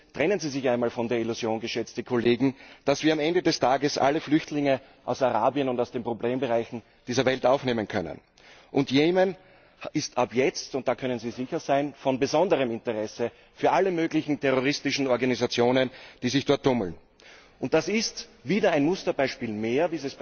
Trennen Sie sich einmal von der Illusion, geschätzte Kollegen, dass wir am Ende des Tages alle Flüchtlinge aus Arabien und aus den Problembereichen dieser Welt aufnehmen können! Jemen ist ab jetzt da können Sie sicher sein von besonderem Interesse für alle möglichen terroristischen Organisationen, die sich dort tummeln. Dieses Beispiel Jemen ist wieder ein Musterbeispiel mehr,